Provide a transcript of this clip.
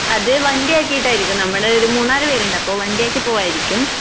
അത് വണ്ടിയാക്കീട്ടായിരിക്കും നമ്മള് ഒരു മൂന്നാല് പേരുണ്ട് അപ്പോ വണ്ടിയാക്കി പോവ്വായിരിക്കും.